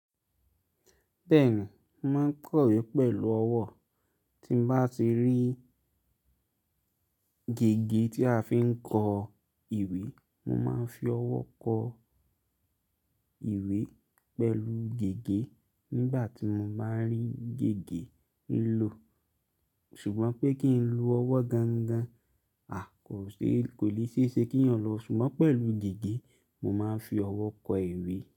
Bẹ́ẹ̀ni, mo máa ń kọ ìwé pẹ̀lú ọwọ́, tí m bá ti rí gègé tí a fi ń kọ ìwé, mo máa ń fi ọwọ́ kọ ìwé pẹ̀lú gègé nígbà tí mo bá ń rí gègé ń lò. Ṣùgbọ́n pé kí n lo ọwọ́ gangan, a kò lè ṣiṣẹ́ kí ìyàn lọ, ṣùgbọ́n pẹ̀lú gègé mo máa ń fi ọwọ́ kọ ìwé.